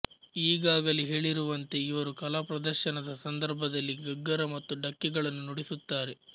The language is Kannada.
ಈಗಾಗಲೇ ಹೇಳಿರುವಂತೆ ಇವರು ಕಲಾ ಪ್ರದರ್ಶನದ ಸಂದರ್ಭದಲ್ಲಿ ಗಗ್ಗರ ಮತ್ತು ಢಕ್ಕೆಗಳನ್ನು ನುಡಿಸುತ್ತಾರೆ